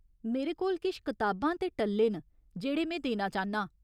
मेरे कोल किश कताबां ते टल्ले न जेह्ड़े में देना चाह्न्नां ।